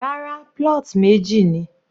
Rárá, plot meji ni.